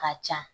Ka ca